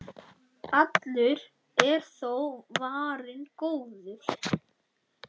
Allur er þó varinn góður.